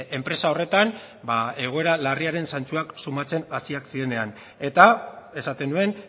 enpresa horretan ba egoera larriaren santsuak sumatzen hasiak zirenean eta esaten nuen